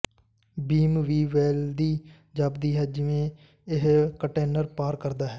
ਬੀਮ ਵੀ ਫੈਲਦੀ ਜਾਪਦੀ ਹੈ ਜਿਵੇਂ ਇਹ ਕੰਟੇਨਰ ਪਾਰ ਕਰਦਾ ਹੈ